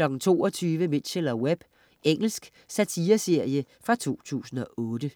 22.00 Mitchell & Webb. Engelsk satireserie fra 2008